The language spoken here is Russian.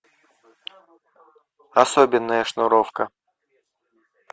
особенная шнуровка